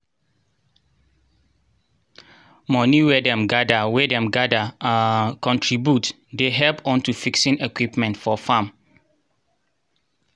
moni wey dem gather wey dem gather um contribute dey help unto fixing equipment for farm.